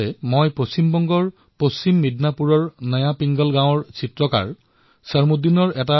সেই ভিডিঅ পশ্চিমবংগৰ পশ্চিম মিদনাপুৰস্থিত নতুন পিংগলা গাঁৱৰ এজন চিত্ৰকাৰ চৰমুদিনৰ আছিল